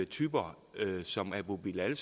typer som abu bilal